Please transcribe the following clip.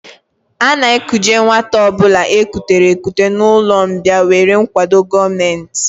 A na-ekuje nwata ọ bụla e kutere ekute n'ụlọmbịa nwere nkwado gọọmenti